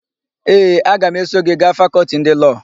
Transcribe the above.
Ee, aga m eso gị gaa Fakọltị ndị Lọọ.